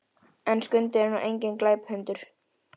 En Skundi er nú enginn glæpahundur.